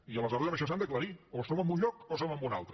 i aleshores amb això s’han d’aclarir o som en un lloc o som en un altre